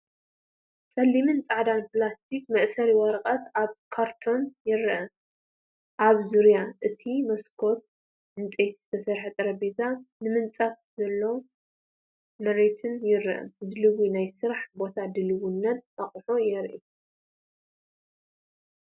ጸሊምን ጻዕዳን ፕላስቲክ መእሰሪ ወረቐት ኣብ ካርቶን ይርአ። ኣብ ዙርያ እቲ መስኮት ዕንጨይቲ ዝተሰርሐ ጠረጴዛን ምንጻፍ ዘለዎ መሬትን ይርአ። ድሉው ናይ ስራሕ ቦታን ድልውነትን ኣቑሑትን የርኢ።